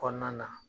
Kɔnɔna na